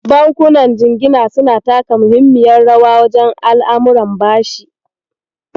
Bankunan jingina suna taka muhimmiyar rawa wajen al'amuran bashi.